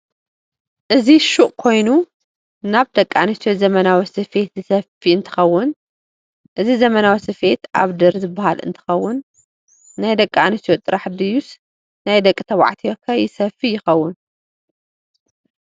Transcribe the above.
እዚ ሽቁ ኮይኑ ናብ ደቂ ኣንስትዮ ዘመናዊ ዝፍያት ዝሰፍይ እንትከውን እዚ ዘመናዊ ስፌት ኣብድር ዝበሃል እንትከውን ናይ ደቂ ኣንስትዮ ጥራሕ ድይስ ናይ ደቂ ተበዕትዮ ከይሰፍይ ይከውን?